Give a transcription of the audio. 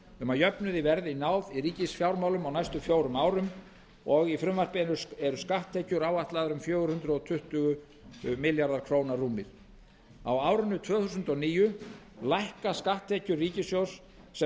um að jöfnuði verði náð í ríkisfjármálum á næstu fjórum árum og í frumvarpinu eru skatttekjur áætlaðar um fjögur hundruð tuttugu milljarðar króna rúmir á árinu tvö þúsund og níu lækka skatttekjur ríkissjóðs sem